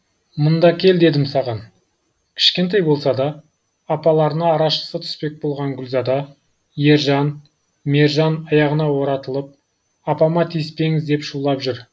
мында кел дедім саған кішкентай болса да апаларына арашасы түспек болып гүлзада ержан мержан аяғына оратылып апама тиіспеңіз деп шулап жүр